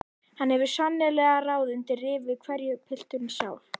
Hann hefur svo sannarlega ráð undir rifi hverju pilturinn sá!